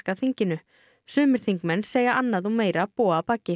þinginu sumir þingmenn segja annað og meira búa að baki